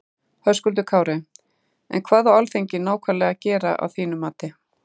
Höskuldur Kári: En hvað á Alþingi nákvæmlega að gera að þínum mati?